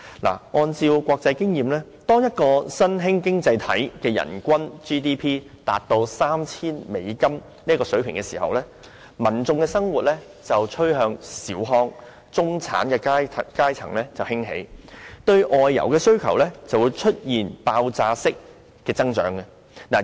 根據國際經驗，當一個新興經濟體的人均 GDP 達 3,000 美元的水平時，民眾生活趨向小康，中產階層興起，對外遊的需求便會出現爆發式的增長。